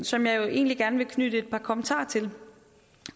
som jeg egentlig gerne vil knytte et par kommentarer til